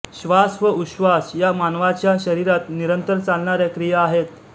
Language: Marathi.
श्वास व उश्वास या मानवाच्या शरीरात निरंतर चालणाऱ्या क्रिया आहेत